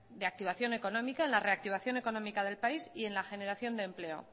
de activación económica en la reactivación económica del país y en la generación de empleo